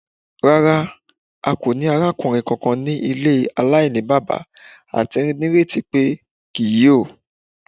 Rara, a ko ni arakunrin kankan ni ile alainibaba ati nireti pe kii yoo